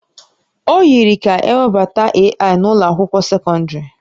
O yikarịrị ka ewebata AI n'ụlọ akwụkwọ sekọndrị